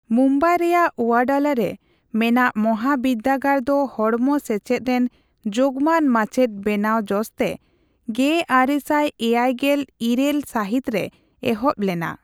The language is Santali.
ᱢᱩᱢᱵᱟᱭ ᱨᱮᱭᱟᱜ ᱳᱭᱟᱰᱟᱞᱟᱨᱮ ᱢᱮᱱᱟᱜ ᱢᱟᱦᱟᱵᱤᱫᱽᱫᱟᱹᱜᱟᱲ ᱫᱚ ᱦᱚᱲᱢᱚ ᱥᱮᱪᱮᱫ ᱨᱮᱱ ᱡᱳᱜᱢᱟᱱ ᱢᱟᱪᱮᱫ ᱵᱮᱱᱟᱣ ᱡᱚᱥᱛᱮ ᱑᱙᱗᱘ ᱥᱟᱹᱦᱤᱛ ᱨᱮ ᱮᱦᱚᱵ ᱞᱮᱱᱟ ᱾